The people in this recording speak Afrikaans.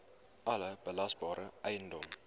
alle belasbare eiendom